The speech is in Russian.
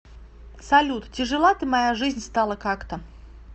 салют тяжела ты моя жизнь стала как то